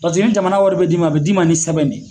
Paseke ni jamana wari be d'i ma, a be d'i ma ni sɛbɛn de ye.